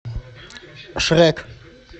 шрек